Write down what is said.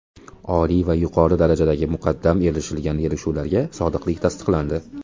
Oliy va yuqori darajadagi muqaddam erishilgan kelishuvlarga sodiqlik tasdiqlandi.